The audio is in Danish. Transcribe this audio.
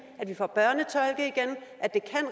at det